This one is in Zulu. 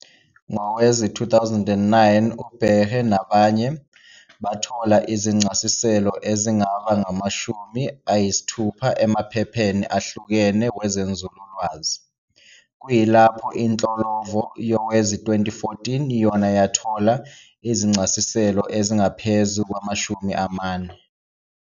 Ngowezi-2009, uBaregheh nabanye, bathola izincasiselo ezingaba ngama-60 emaphepheni ahlukene wezenzululwazi, kuyilapho inhlolovo yowezi-2014 yona yathola izincasiselo ezingaphezu kwama-40.